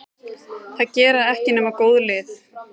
Það gera ekki nema góð lið.